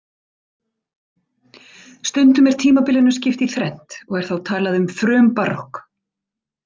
Stundum er tímabilinu skipt í þrennt og er þá talað um frumbarokk.